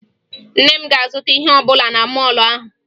Nne m azụtaghị ihe ọbụla na mọọlụ ahụ